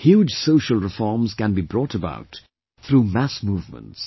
Huge social reforms can be brought about through mass movements